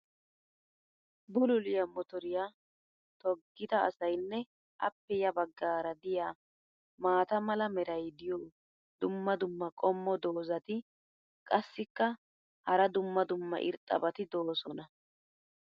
bulluliya motoriya toggida asaynne appe ya bagaara diya maata mala meray diyo dumma dumma qommo dozzati qassikka hara dumma dumma irxxabati doosona.